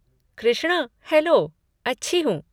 Krishna, hello, अच्छी हूँ।